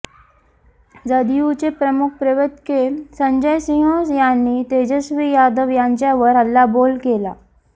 जदयुचे प्रमुख प्रवक्ते संजय सिंह यांनी तेजस्वी यादव यांच्यावर हल्लाबोल केला